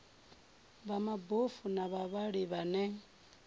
vha mabofu na vhavhali vhane